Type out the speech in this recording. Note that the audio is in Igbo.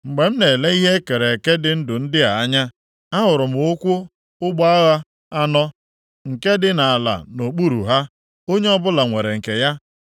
Mgbe m na-ele ihe e kere eke dị ndụ ndị a anya, ahụrụ m ụkwụ ụgbọ agha anọ nke dị nʼala nʼokpuru ha. Onye ọbụla nwere nke ya.